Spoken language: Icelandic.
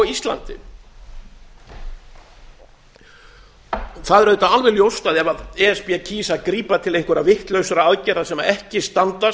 íslandi það er auðvitað alveg ljóst að ef e s b kýs að grípa til einhverra vitlausra aðgerða sem ekki standast